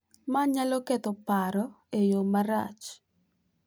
Ma nyalo ketho paro e yo marach .